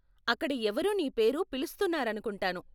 అక్కడ ఎవరో నీ పేరు పిలుస్తున్నారనుకుంటాను.